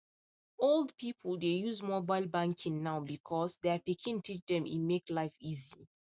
old people dey use mobile banking now because their pikin teach dem e make life easy